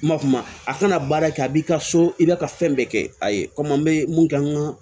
Ma kuma a kana baara kɛ a b'i ka so i bɛ ka fɛn bɛɛ kɛ a ye komi an bɛ mun kɛ an ka